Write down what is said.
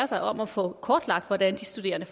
sig om at få kortlagt hvordan de studerende